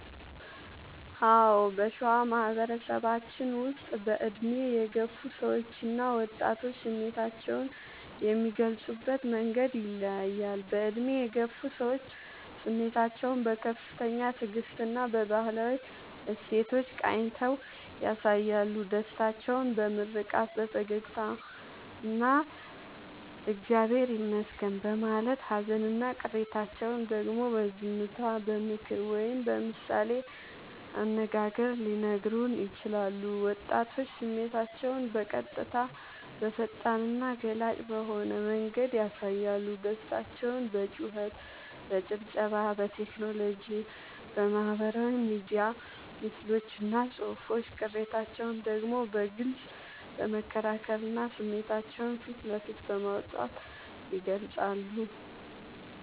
አዎ: በሸዋ ማህበረሰባችን ውስጥ በዕድሜ የገፉ ሰዎችና ወጣቶች ስሜታቸውን የሚገልጹበት መንገድ ይለያያል፦ በዕድሜ የገፉ ሰዎች፦ ስሜታቸውን በከፍተኛ ትዕግስትና በባህላዊ እሴቶች ቃኝተው ያሳያሉ። ደስታቸውን በምርቃት፣ በፈገግታና «እግዚአብሔር ይመስገን» በማለት: ሃዘንና ቅሬታቸውን ደግሞ በዝምታ: በምክር ወይም በምሳሌ አነጋገር ሊነግሩን ይችላሉ። ወጣቶች፦ ስሜታቸውን በቀጥታ: በፈጣንና ገላጭ በሆነ መንገድ ያሳያሉ። ደስታቸውን በጩኸት: በጭብጨባ: በቴክኖሎጂ (በማህበራዊ ሚዲያ ምስሎችና ጽሑፎች): ቅሬታቸውን ደግሞ በግልጽ በመከራከርና ስሜታቸውን ፊት ለፊት በማውጣት ይገልጻሉ።